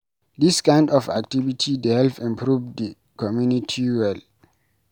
Dis kind of activity dey help improve di community well